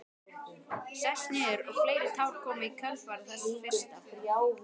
Sest niður og fleiri tár koma í kjölfar þess fyrsta.